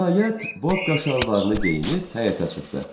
Nəhayət, Bobka şalvarını geyinib həyətə çıxdı.